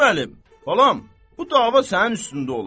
Qasım Əli, balam, bu dava sənin üstündə olub.